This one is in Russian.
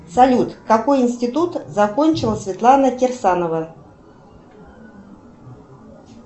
салют какой институт закончила светлана кирсанова